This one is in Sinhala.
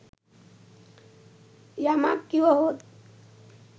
යමක් කිව හොත්